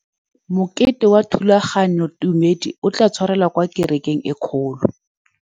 Mokete wa thulaganyôtumêdi o tla tshwarelwa kwa kerekeng e kgolo.